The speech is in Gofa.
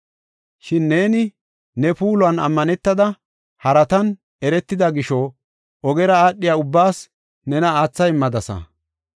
“Shin neeni ne puulan ammanetada, haratan eretida gisho ogera aadhiya ubbaas nena aatha immadasa.